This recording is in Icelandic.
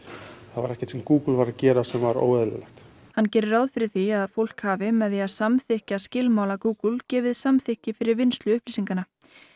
var ekkert sem Google var að gera sem var óeðlilegt hann gerir ráð fyrir því að fólk hafi með því að samþykkja skilmála Google gefið samþykki fyrir vinnslu upplýsinganna